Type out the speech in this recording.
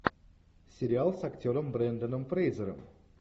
сериал с актером бренданом фрейзером